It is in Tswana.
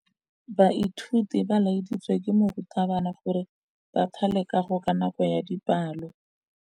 Baithuti ba laeditswe ke morutabana gore ba thale kagô ka nako ya dipalô.